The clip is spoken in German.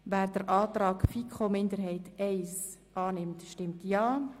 Wer den Antrag der FiKoMinderheit I annehmen will, stimmt Ja.